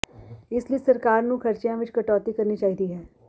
ਇਸ ਲਈ ਸਰਕਾਰ ਨੂੰ ਖਰਚਿਆਂ ਵਿੱਚ ਕਟੌਤੀ ਕਰਨੀ ਚਾਹੀਦੀ ਹੈ